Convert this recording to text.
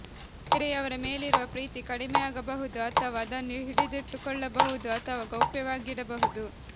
ಬೇರೆಯವರ ಮೇಲಿರುವ ಪ್ರೀತಿ ಕಡಿಮೆಯಾಗಬಹುದು ಅಥವಾ ಅದನ್ನು ಹಿಡಿದಿಟ್ಟುಕೊಳ್ಳಬಹುದು ಅಥವಾ ಗೌಪ್ಯವಾಗಿಡಬಹುದು